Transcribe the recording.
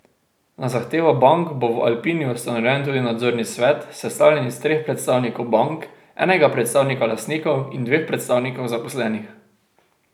Na zahtevo bank bo v Alpini ustanovljen tudi nadzorni svet, sestavljen iz treh predstavnikov bank, enega predstavnika lastnikov in dveh predstavnikov zaposlenih.